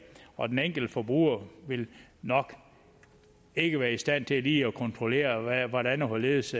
og den enkelte forbruger vil nok ikke være i stand til lige at kontrollere hvordan og hvorledes